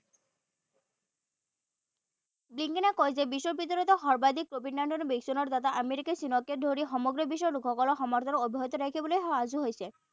ব্লিংকনে কয় যে পৰ্যায়ত বিশ্ববিদ্যালয়তে সৰ্বাধিক covid nineteen ৰ ভেকচিনৰ দ্বাৰা আমেৰিকাই চীনকে ধৰি সমগ্ৰ বিশ্বৰ লোকসকলক সমৰ্থন অব্যাহত ৰাখিবলৈ সাজু হৈছে।